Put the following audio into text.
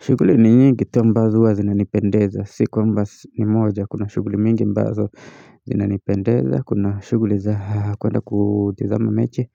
Shuguli ni nyingi tu ambazo huwa zinanipendeza. Si kwamba ni moja. Kuna shuguli mingi ambazo zinanipendeza. Kuna shuguli za kuenda kutizama mechi.